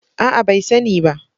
A'a! bai sani ba.